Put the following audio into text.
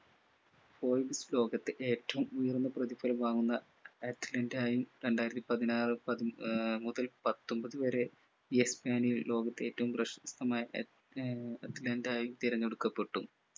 ലോകത്തെ ഏറ്റവും ഉയർന്ന പ്രതിഫലം വാങ്ങുന്ന athlete ആയും രണ്ടായിരത്തിപതിനാറു പതി ആഹ് മുതൽ പത്തൊൻപതു വരെ ലോകത്തെ ഏറ്റവും പ്രശസ്തമായ അത്ല ഏർ athlete ആയും തിരഞ്ഞെടുക്കപ്പെട്ടു